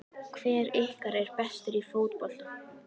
Hver ykkar er bestur í fótbolta?